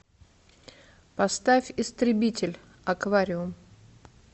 поставь истребитель аквариум